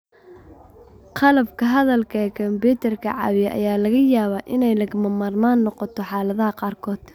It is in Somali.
Qalabka hadalka ee kumbiyuutarka caawiya ayaa laga yaabaa inay lagama maarmaan noqoto xaaladaha qaarkood.